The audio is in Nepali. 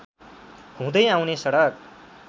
हुँदै आउने सडक